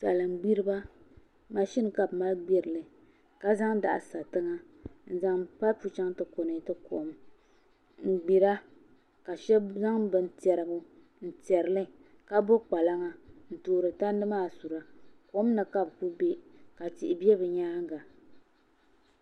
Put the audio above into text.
Salin gbiriba mashin ka bi mali gbirili ka zaŋ daɣu sa tiŋa n zaŋ paip chɛŋ ti konɛti kom n gbira ka shab zaŋ bin tiɛrigu n tiɛrili ka bo kpalaŋa n toori tandi maa sura kom ni ka bi bɛ ka tihi bɛ bi nyaanga